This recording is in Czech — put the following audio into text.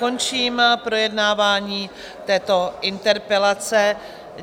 Končím projednávání této interpelace.